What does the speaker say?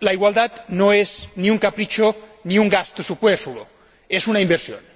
la igualdad no es ni un capricho ni un gasto superfluo, es una inversión.